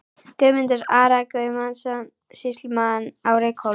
Guðmundar, Ara Guðmundsson, sýslumann á Reykhólum.